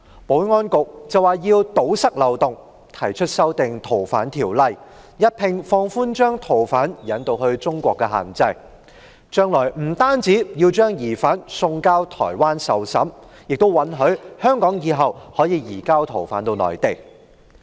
保安局表示要堵塞漏洞，提出修訂《逃犯條例》，一併放寬把逃犯引渡至中國內地的限制，將來不單要把疑犯送交台灣受審，還允許香港日後可以移交逃犯至內地。